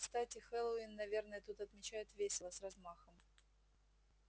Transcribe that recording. кстати хэллоуин наверное тут отмечают весело с размахом